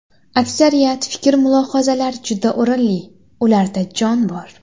Aksariyat fikr-mulohazalar juda o‘rinli, ularda jon bor.